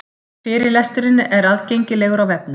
Fyrirlesturinn er aðgengilegur á vefnum